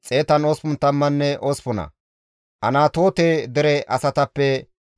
Eraamappenne Geeba dere asatappe 621;